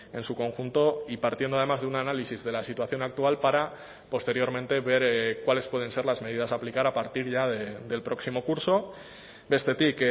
en su conjunto y partiendo además de un análisis de la situación actual para posteriormente ver cuáles pueden ser las medidas a aplicar a partir ya del próximo curso bestetik